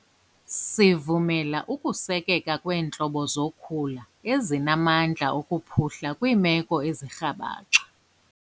Sivumela ukusekeka kweentlobo zokhula ezinamandla okuphuhla kwiimeko ezirhabaxa.